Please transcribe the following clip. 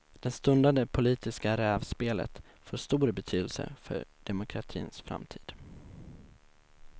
Det stundande politiska rävspelet får stor betydelse för demokratins framtid.